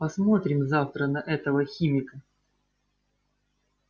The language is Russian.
посмотрим завтра на этого химика